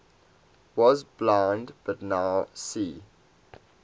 was blind but now see